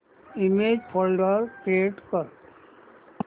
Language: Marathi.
इमेज फोल्डर क्रिएट कर